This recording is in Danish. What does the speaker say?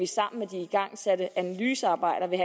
sammen med de igangsatte analysearbejder vil